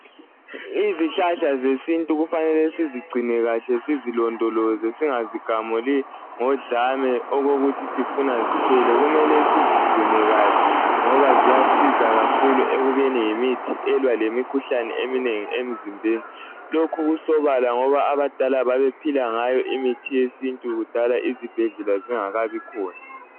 Izihlahla zesintu kufanele sizigcine kahle sizilondoloze singazigamuli ngodlame okokuthi sifuna ziphele. Kumele sizigcine kahle ngoba ziyasiza kakhulu ekubeni yimithi elwa lemikhuhlane eminengi emzimbeni. Lokhu kusobala ngoba abadala babephila ngayo imithi yesintu kudala izibhedlela zingakabi khona.